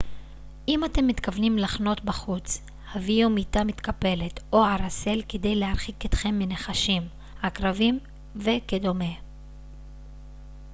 אם אתם מתכוונים לחנות בחוץ הביאו מיטה מתקפלת או ערסל כדי להרחיק אתכם מנחשים עקרבים וכדומה